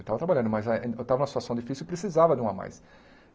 Eu estava trabalhando, mas ah em eu estava numa situação difícil e precisava de um a mais.